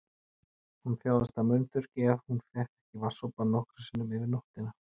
Hún þjáðist af munnþurrki ef hún fékk ekki vatnssopa nokkrum sinnum yfir nóttina.